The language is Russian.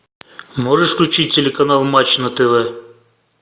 можешь включить телеканал матч на тв